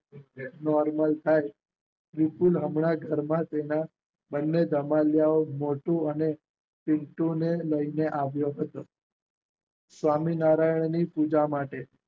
Normal થાય. વિપુલ હમણાં જ ઘરમાં તેના બંને ધમાલિયાઓ મોન્ટુ અને પિન્ટુને લઈને આવ્યો હતો. સ્વામિનારાયણની પૂજા માટે